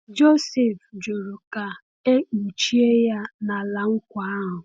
Jọsif jụrụ ka e kpuchie ya n’ala nkwa ahụ.